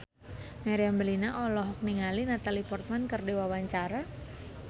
Meriam Bellina olohok ningali Natalie Portman keur diwawancara